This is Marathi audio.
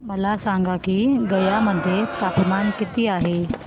मला सांगा की गया मध्ये तापमान किती आहे